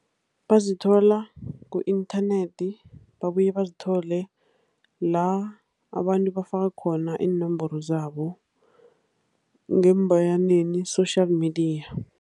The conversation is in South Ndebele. Bazithola ku-inthanethi, babuye bazithole la abantu bafaka khona iinomboro zabo, ngeembayaneni social media.